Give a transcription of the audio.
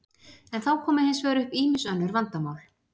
En þá koma hins vegar upp ýmis önnur vandamál.